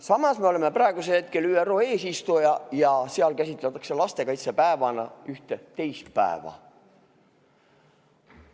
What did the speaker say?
Samas me oleme praegusel hetkel ÜRO eesistuja ja seal käsitletakse lastekaitsepäevana ühte teist päeva.